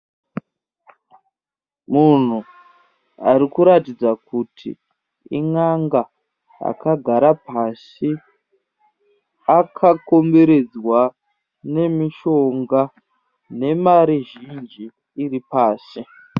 Munhu arikuratidza kuti in'anga. Akàgara pasi akakomberedzwa nemishonga nemari zhinji iripasi.